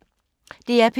DR P2